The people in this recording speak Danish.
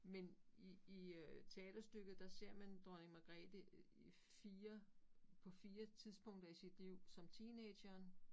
Men i i øh teaterstykket der ser man Dronning Magrethe 4 på 4 tidspunkter i sit liv som teenageren